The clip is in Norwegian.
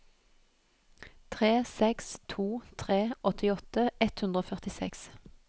tre seks to tre åttiåtte ett hundre og førtiseks